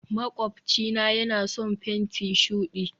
makwabcina yana son fenti shudi